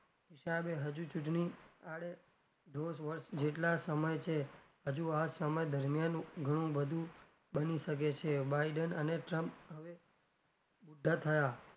હિસાબે હજુ ચુંટણી આડે ધોષ વર્ષ જેટલાં સમય છે હજુ આ સમય દરમિયાન ઘણું બધું બની શકે છે biden અને trump હવે બુઢાં થયાં.